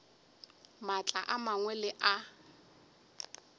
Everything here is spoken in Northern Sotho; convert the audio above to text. maatla a mangwe le a